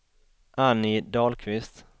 Annie Dahlqvist